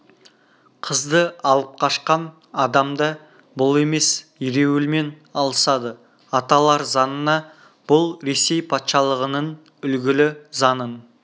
қызды алып қашқан адам да бұл емес ереуілмен алысады аталар заңына бұл ресей патшалығының үлгілі заңын